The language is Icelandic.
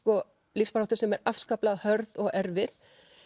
lífsbaráttu sem er afskaplega hörð og erfið